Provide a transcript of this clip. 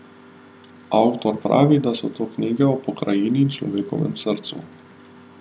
Avtor pravi, da so to knjige o pokrajini in človeškem srcu.